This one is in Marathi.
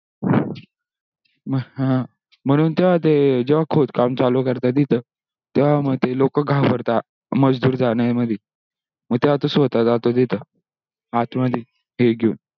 मग हा म्हणून तेव्हा ते ज्व्हा खोदकाम चालू करता तिथे तेव्हा मग ते लोक घाबरतात मजदूर जन्य मध्ये तेव्हा तो स्वोता जातो तिथे आत मध्ये ही घेऊन